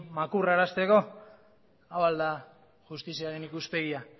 makurrarazteko hau al da justiziaren ikuspegia